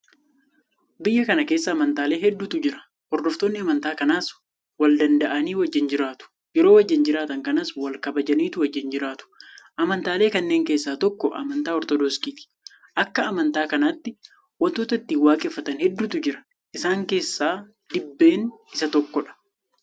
Biyya kana keessa amantaalee hedduutu jira. Hordoftoonni amantaa kanaas waldanda'anii wajjin jiraatu. Yeroo wajjin jiraatan kanas walkabajaniitu wajjin jiraatu. Amantaalee kanneen keessaa tokko Amantaa Ortodoksiiti. Akka Amantaa kanaatti waantota ittiin waaqeffatan hedduutu jira. Isaan keessaa Dibbeen isa tokkodha.